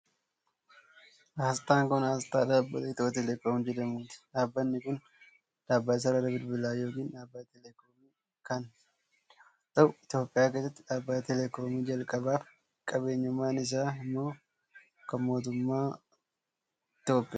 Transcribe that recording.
Asxaan kun, asxaa dhaabbata Itiyoo Telekoom jedhamuuti. Dhaabbanni kun, dhaabbata sarara bilbilaa yokin dhaabbata telekoomii kan yoo ta'u, Itoophiyaa keessatti dhaabbata telekoomii jalqabaa fi qabeenyummaan isaa immoo kan mootummaati Itoophiyaati.